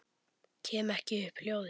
Kem ekki upp hljóði.